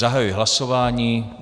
Zahajuji hlasování.